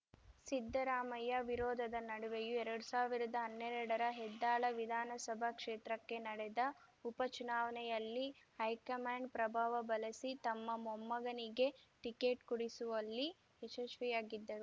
ಸಿದ್ದರಾಮಯ್ಯ ವಿರೋಧದ ನಡುವೆಯೂ ಎರಡ್ ಸಾವಿರ್ದಾ ಹನ್ನೆರಡರ ಹೆದ್ದಾಳ ವಿಧಾನಸಭಾ ಕ್ಷೇತ್ರಕ್ಕೆ ನಡೆದ ಉಪಚುನಾವಣೆಯಲ್ಲಿ ಹೈಕಮಾಂಡ್‌ ಪ್ರಭಾವ ಬಳಸಿ ತಮ್ಮ ಮೊಮ್ಮಗನಿಗೆ ಟಿಕೆಟ್‌ ಕೊಡಿಸುವಲ್ಲಿ ಯಶಸ್ವಿಯಾಗಿದ್ದರು